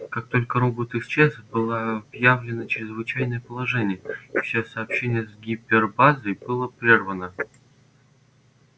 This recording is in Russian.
как только робот исчез было объявлено чрезвычайное положение и все сообщение с гипербазой было прервано